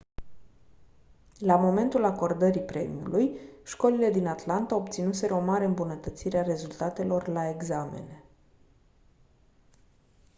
la momentul acordării premiului școlile din atlanta obținuseră o mare îmbunătățire a rezultatelor la examene